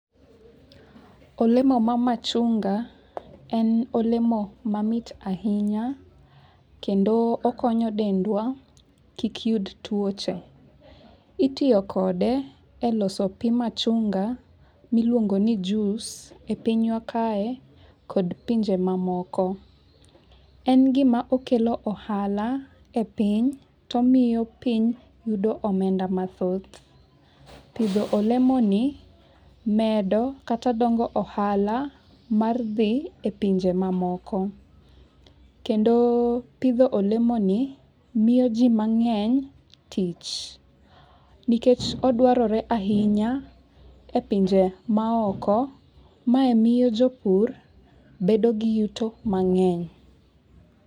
Olemo mar machunga en olemo mamit ahinya. Kendo okonya dendwa kik yud tuoche. Itiyo kode e loso pi machunga miluongo ni juice e piny wa kae kod pinje mamoko. En gima okelo ohala e piny to omiyo piny yudo omenda mathoth. Pidho olemo ni medo kata dongo ohala mar dhi e pinje mamoko. Kendo pidho olemo ni miyo ji mang'eny tich. Nikech odwarore ahinya e pinje maoko, mae miyo jopur bedo gi yuto mang'eny.